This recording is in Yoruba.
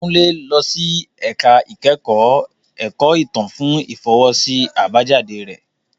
Kunle lọ sí ẹ̀ka ìkẹ́kọ̀ọ́ ẹ̀kọ́ ìtàn fún ìfọwọ́sí àbájáde rẹ.